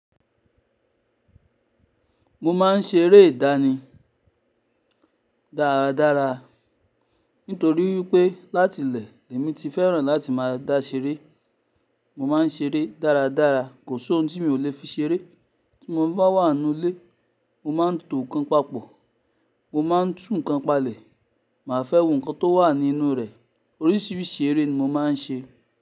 Mo máa ń ṣeré ìdáni dáradára. Nítorí pé láti ilẹ̀ èmi ti fẹ́ràn láti máa dá ṣeré. Mo máa ń ṣeré dáradára. Kò sí ohun tí mi ò le fi ṣeré. Tí mo bá wà nínu ilé, mo máa ń tò ńkan papọ̀, mo máa ń tún ńkan palẹ̀, mà á fẹ́ wo nǹkan tó wà ní inú rẹ̀. Oríṣiríṣi eré ni mo máa ń ṣe.